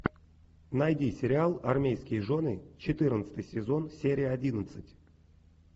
найди сериал армейские жены четырнадцатый сезон серия одиннадцать